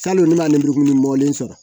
Salon ne b'a lemurukumuni bɔlen sɔrɔ